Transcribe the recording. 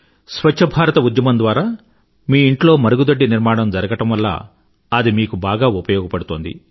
స్వచ్ఛ భారత ఉద్యమం ద్వారా మీ ఇంట్లో మరుగుదొడ్డి నిర్మణం జరిగడం వల్ల అది మీకు బాగా ఉపయోగపడుతోంది